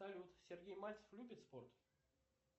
салют сергей мальцев любит спорт